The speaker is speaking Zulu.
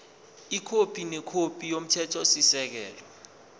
ikhophi nekhophi yomthethosisekelo